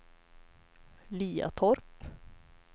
Liatorp